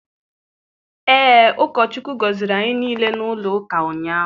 Ee, ụkọ Chukwu gọziri anyị niile n'ụlọ ụka ụnyaahụ.